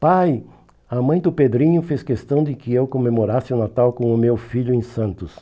Pai, a mãe do Pedrinho fez questão de que eu comemorasse o Natal com o meu filho em Santos.